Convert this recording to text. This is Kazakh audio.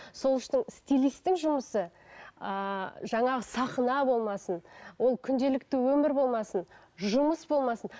сол үшін стилистің жұмысы ыыы жаңағы сахна болмасын ол күнделікті өмір болмасын жұмыс болмасын